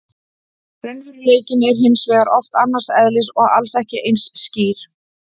Raunveruleikinn er hins vegar oft annars eðlis og alls ekki eins skýr.